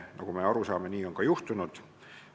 Nagu me aru saame, nii on ka juhtunud.